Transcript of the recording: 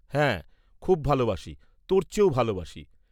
হ্যাঁ, খুব ভালবাসি, তোর চেয়েও ভাল বাসি।